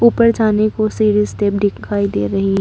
ऊपर जाने को सीढ़ी स्टेप दिखाई दे रही--